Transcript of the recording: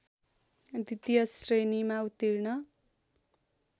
द्वितीय श्रेणीमा उत्तीर्ण